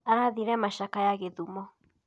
Arathire macakaya gĩthumo.